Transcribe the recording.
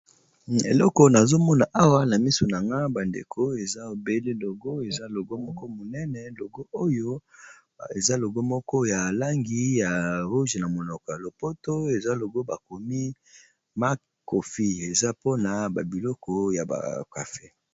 eloko na zomona awa na misu na nga bandeko eza ebele logo eza logo moko monene logo oyo eza logo moko ya langi ya roge na monoko ya lopoto eza logo bakomi ma kofie eza mpona babiloko ya bacafe